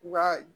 U ka